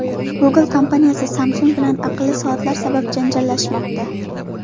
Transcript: Google kompaniyasi Samsung bilan aqlli soatlar sabab janjallashmoqda.